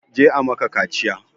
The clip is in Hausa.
Je a maka kaciya!